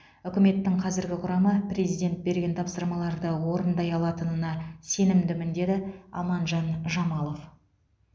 үкіметтің қазіргі құрамы президент берген тапсырмаларды орындай алатынына сенімдімін деді аманжан жамалов